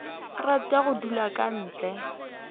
rate go dulwa ke nt